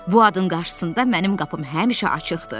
Bu adın qarşısında mənim qapım həmişə açıqdır.